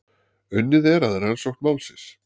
Unnið er að rannsókn málsins.